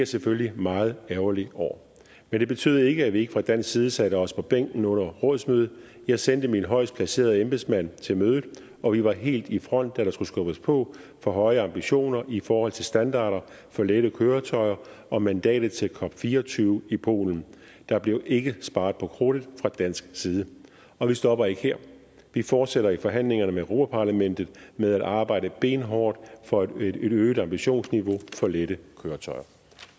selvfølgelig meget ærgerlig over men det betød ikke at vi ikke fra dansk side satte os på bænken under rådsmødet jeg sendte min højest placerede embedsmand til mødet og vi var helt i front da der skulle skubbes på for høje ambitioner i forhold til standarder for lette køretøjer og mandatet til cop24 i polen der blev ikke sparet på krudtet fra dansk side og vi stopper ikke her vi fortsætter i forhandlingerne med europa parlamentet med at arbejde benhårdt for et øget ambitionsniveau for lette køretøjer